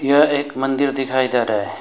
यह एक मंदिर दिखाई दे रहा है।